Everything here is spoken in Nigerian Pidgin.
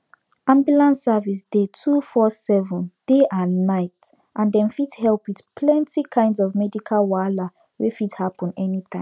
ambulance services dey 247 day and night and dem fit help with plenty kinds of medical wahala wey fit happen anytime